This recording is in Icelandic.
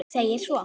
segir svo